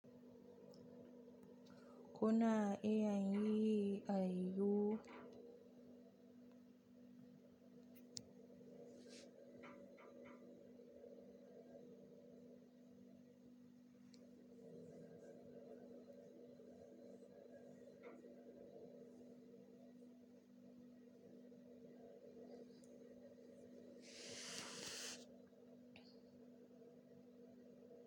Kuna iya yin AINAU.